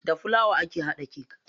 Da filawa ake hada kek.